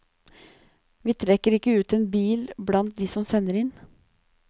Vi trekker ikke ut en bil blant de som sender inn.